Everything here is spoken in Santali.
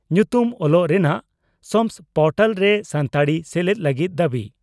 ᱧᱩᱛᱩᱢ ᱚᱞᱚᱜ ᱨᱮᱱᱟᱜ ᱥᱟᱢᱥ ᱯᱚᱨᱴᱟᱞ ᱨᱮ ᱥᱟᱱᱛᱟᱲᱤ ᱥᱮᱞᱮᱫ ᱞᱟᱹᱜᱤᱫ ᱫᱟᱵᱤ